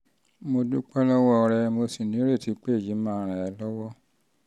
mo dúpẹ́ lọ́wọ́ rẹ mo sì nírètí pé èyí máa ràn ẹ́ lọ́wọ́